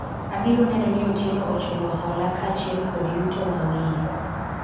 abiro neno ni Otieno ochulo hola kaachiel kod yuto mawiye